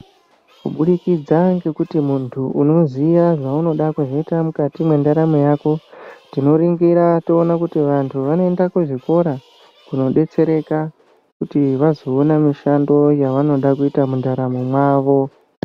Kubudikidza ngekuti muntu unoziya zvaunoda kuzoita mukati mwendaramo yako, tinoringira toona kuti vantu vanoenda kuzvikora koodetsereka kuti vazoona mishando yavanoda kuita mundaramo mwavo.